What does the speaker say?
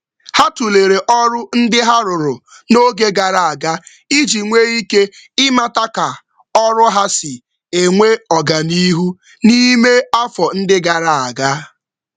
Ha nyochara nyocha arụmọrụ gara aga iji um soro ọganihu ọrụ um n’ime afọ um gara aga.